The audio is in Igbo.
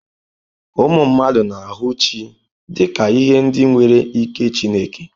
Ụmụ mmadụ na-ahụ chi dị ka ihe ndị nwere ike Chineke.